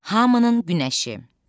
Hamının günəşi.